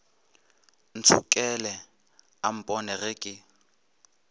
ntšhokela o mpone ge ke